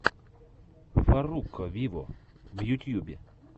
фарруко виво в ютьюбе